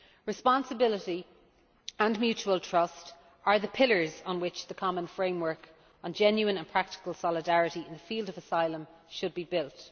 Responsibility and mutual trust are the pillars on which the common framework on genuine and practical solidarity in the field of asylum should be built.